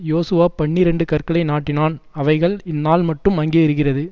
யோசுவா பன்னிரண்டு கற்களை நாட்டினான் அவைகள் இந்நாள்மட்டும் அங்கே இருகிறது